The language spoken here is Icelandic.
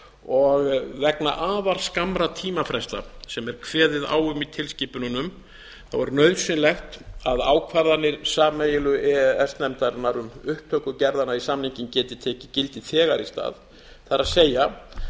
og vegna afar skammra tímafresta sem er kveðið á um í tilskipununum er nauðsynlegt að ákvarðanir sameiginlegu e e s nefndarinnar um upptöku gerðanna í samninginn geti tekið gildi þegar í stað það er án þess